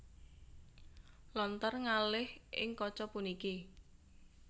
Lontar ngalih ing kaca puniki